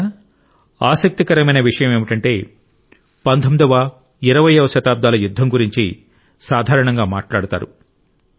మిత్రులారా ఆసక్తికరమైన విషయం ఏమిటంటే 19 వ 20 వ శతాబ్దాల యుద్ధం గురించి సాధారణంగా మాట్లాడుతారు